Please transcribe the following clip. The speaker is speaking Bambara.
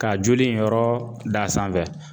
Ka joli in yɔrɔ da a sanfɛ